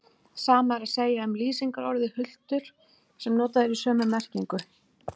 Sama er að segja um lýsingarorðið hultur sem notað er í sömu merkingu.